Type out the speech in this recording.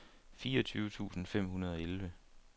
fireogtyve tusind fem hundrede og elleve